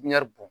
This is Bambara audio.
bɔn